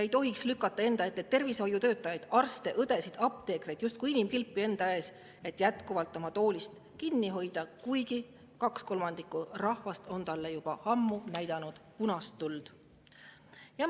Ei tohiks lükata tervishoiutöötajaid – arste, õdesid, apteekreid – justkui inimkilpi enda ette, et jätkuvalt oma toolist kinni hoida, kuigi kaks kolmandikku rahvast on juba ammu näidanud punast tuld.